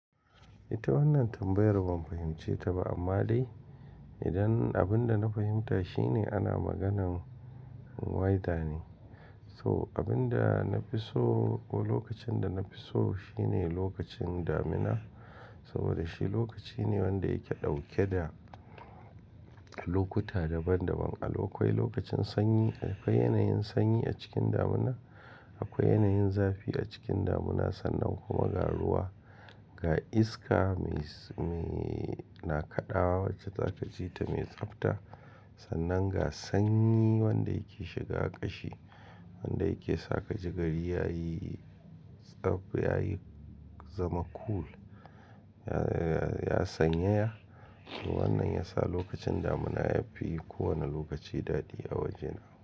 Ita wannan tambayar ban fahimce ta ba amma dai idan abin da na fahimta shine ana maganan weather ne. So abin da na fi so ko lokacin da na fi so shine lokacin damina saboda shi lokaci ne wanda yake dauke da lokuta daban-daban. Akwai lokacin sanyi, akwai yanayin sanyi a cikin damina, akwai yanayin zafi a cikin damina sannan kuma ga ruwa, ga iska mai, mai na kaɗawa wacce za ka ji ta mai tsabta sannan ga sanyi wanda yake shiga ƙashi wanda yake sa ka ji gari yayi tsab yayi zama cool ya, ya, ya sanyaya. Wannan ya sa lokacin damina yafi kowane lokaci daɗi a wajena.